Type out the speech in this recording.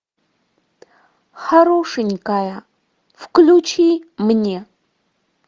хорошенькая включи мне